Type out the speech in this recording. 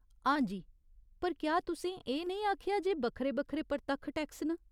हां जी, पर क्या तुसें एह् नेईं आखेआ जे बक्खरे बक्खरे परतक्ख टैक्स न ?